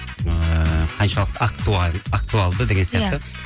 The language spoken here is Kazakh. ыыы қаншалықты актуалды деген сияқты иә